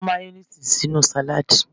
Won Mayonnaise sinu salad